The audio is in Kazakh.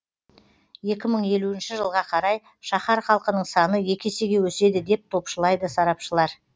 екі мың елуінші жылға қарай шаһар халқының саны екі есеге өседі деп топшылайды сарапшылар